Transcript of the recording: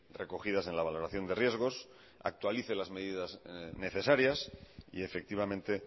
recogidas en la valoración de riesgos actualice las medidas necesarias y efectivamente